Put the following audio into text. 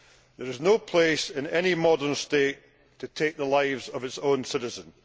There is no place in any modern state to take the lives of its own citizens.